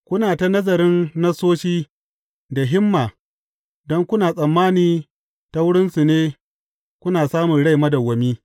Kuna ta nazarin Nassosi da himma don kuna tsammani ta wurinsu ne kuna samun rai madawwami.